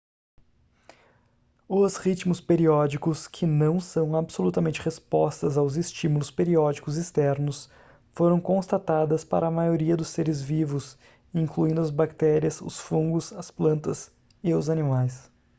os ritmos periódicos que não são absolutamente respostas aos estímulos periódicos externos foram constatadas para a maioria dos seres vivos incluindo as bactérias os fungos as plantas e os animais